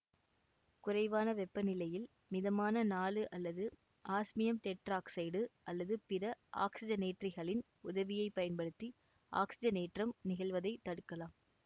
குறைவான வெப்பநிலையில் மிதமான நாழு அல்லது ஆஸ்மியம் டெட்ராக்சைடு அல்லது பிற ஆக்சிசனேற்றிகளின் உதவியை பயன்படுத்தி ஆக்சிசனேற்றம் நிகழ்வதை தடுக்கலாம்